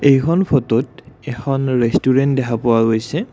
এইখন ফটোত এখন ৰেষ্টোৰেণ্ট দেখা পোৱা গৈছে।